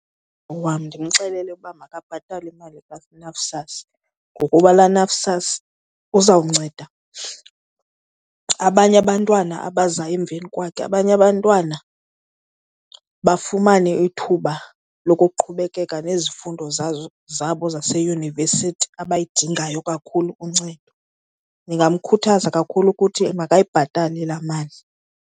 Wam ndimxelele ukuba makabhatale imali kaNSFAS ngokuba laa NSFAS uzawumnceda abanye abantwana abaza emveni kwakhe, abanye abantwana bafumane ithuba lokuqhubekeka nezifundo zabo zaseyunivesithi abayidingayo kakhulu uncedo. Ndingamkhuthaza kakhulu ukuthi makayibhatale laa mali.